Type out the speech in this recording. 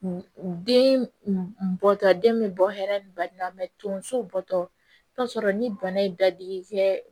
Den bɔtɔ den bɛ bɔ hɛrɛ ni baina tonso bɔtɔ i bɛ t'a sɔrɔ ni bana ye dadigi kɛ